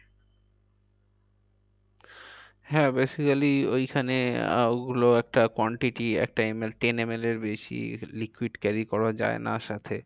হ্যাঁ basically ওইখানে আহ ওগুলো একটা quantity একটা ML ten ML এর বেশি liquid carry করা যায় না সাথে।